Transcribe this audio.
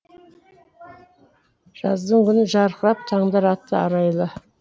жаздың күні жарқырап таңдар атты арайлы